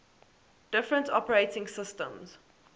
different operating systems